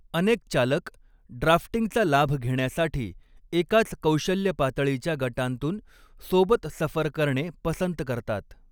अनेक चालक ड्राफ्टिंगचा लाभ घेण्यासाठी एकाच कौशल्य पातळीच्या गटांतून सोबत सफर करणे पसंत करतात.